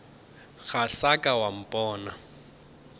ga sa ka wa mpona